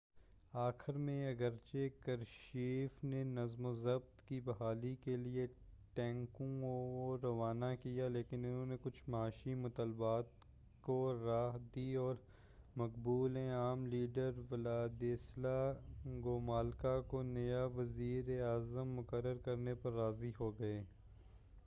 آخر میں اگرچہ کرشچیف نے نظم و ضبط کی بحالی کے لیے ٹینکوں کو روانہ کیا لیکن انہوں نے کچھ معاشی مطالبات کو راہ دی اور مقبول عام لیڈر ولادیسلا گوملکا کو نیا وزیر اعظم مقرر کرنے پر راضی ہوگئے